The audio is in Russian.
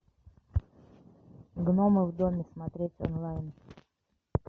гномы в доме смотреть онлайн